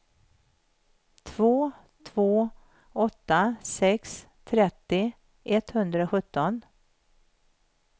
två två åtta sex trettio etthundrasjutton